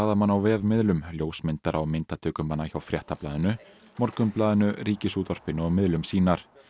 blaðamanna á vefmiðlum ljósmyndara og myndatökumanna hjá Fréttablaðinu Morgunblaðinu Ríkisútvarpinu og miðlum sýnar